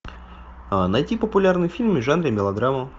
найти популярные фильмы в жанре мелодрама